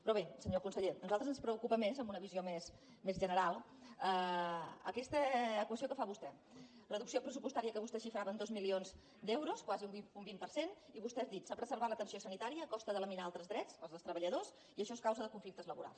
però bé senyor conseller a nosaltres ens preocupa més amb una visió més general aquesta equació que fa vostè reducció pressupostària que vostè xifrava en dos milions d’euros quasi un vint per cent i vostè ha dit s’ha preservat l’atenció sanitària a costa de laminar altres drets els dels treballadors i això és causa de conflictes laborals